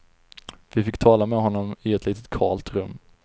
Vi fick tala med honom i ett litet kalt rum.